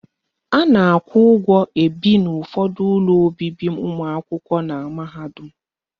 A na-akwụ ụgwọ ebi n'ụfọdụ ụlọ obibi ụmụakwụkwọ na mahadum.